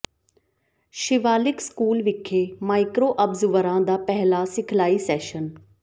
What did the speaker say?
Shivalik school ਵਿਖੇ micro ਅਬਜ਼ਰਵਰਾਂ ਦਾ ਪਹਿਲਾ ਸਿਖਲਾਈ ਸੈਸ਼ਨ